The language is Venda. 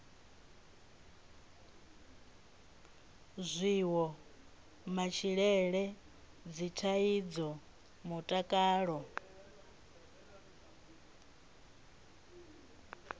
zwiwo matshilele dzithaidzo mutakalo